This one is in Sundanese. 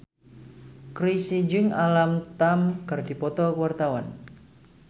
Chrisye jeung Alam Tam keur dipoto ku wartawan